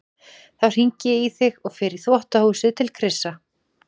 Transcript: Þá hringi ég í þig og fer í þvottahúsið til Krissa.